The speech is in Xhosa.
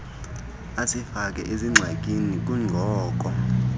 asifake zingxakini kungoko